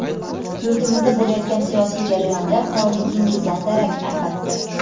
yurtimizda bo‘layotgan siyosiy jarayonda faolligingizdan darak, albatta.